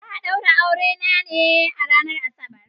Za a daura auren ne a ranar Asabar.